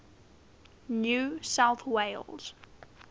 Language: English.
new south wales